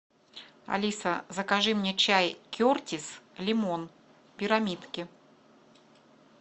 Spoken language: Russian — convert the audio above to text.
алиса закажи мне чай кертис лимон пирамидки